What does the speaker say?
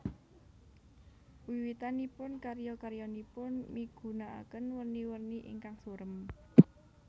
Wiwitanipun karya karyanipun migunaaken werni werni ingkang surem